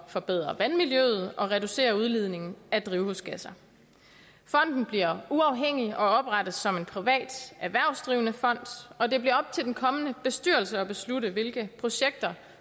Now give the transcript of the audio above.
forbedre vandmiljøet og reducere udledningen af drivhusgasser fonden bliver uafhængig og oprettes som en privat erhvervsdrivende fond og det bliver op til den kommende bestyrelse at beslutte hvilke projekter